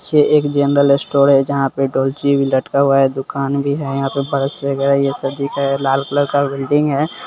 देखिए एक general store है जहाँ पे डोलची भी लटका हुआ है दुकान भी है यहां पे ब्रश वगैरा ये सब चीज है लाल कलर का बिल्डिग है ।